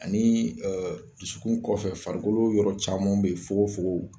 Ani dusukun kɔfɛ farikolo yɔrɔ caman be ye fogofogo